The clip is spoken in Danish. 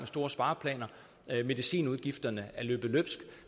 store spareplaner medicinudgifterne er løbet løbsk